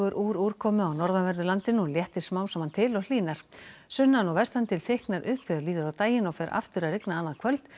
úr úrkomu á norðanverðu landinu og léttir smám saman til og hlýnar sunnan og vestan til þykknar upp þegar líður á daginn og fer aftur að rigna annað kvöld